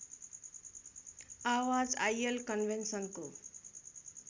आवाज आईएल कन्भेन्सनको